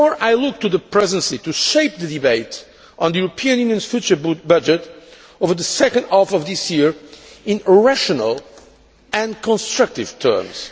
Therefore I look to the Presidency to shape the debate on the EU's future budget over the second half of this year in rational and constructive terms.